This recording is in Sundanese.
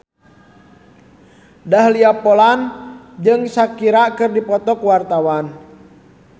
Dahlia Poland jeung Shakira keur dipoto ku wartawan